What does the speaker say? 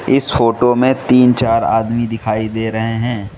इस फोटो में तीन चार आदमी दिखाई दे रहे हैं।